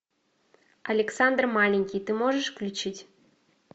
александр маленький ты можешь включить